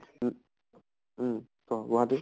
উ উম কʼ গুৱাহাটী